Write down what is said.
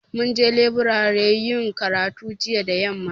Mun je leburare yin karatu jiya da yamma